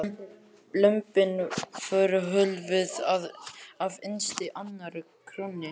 Lömbin voru hólfuð af innst í annarri krónni.